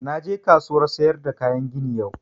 Na je kasuwan sayar da kayan gini yau